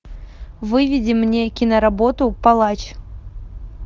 выведи мне киноработу палач